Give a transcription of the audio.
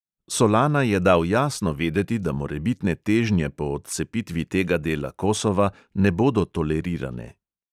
Solana je dal jasno vedeti, da morebitne težnje po odcepitvi tega dela kosova ne bodo tolerirane.